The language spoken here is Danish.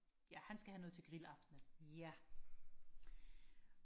ja han skal have noget til grillaftenen ja